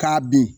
K'a bin